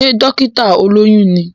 Sé dọ́kítà olóyún ní?